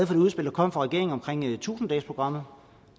det udspil der kom fra regeringen om tusind dagesprogrammet